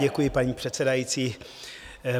Děkuji, paní předsedající.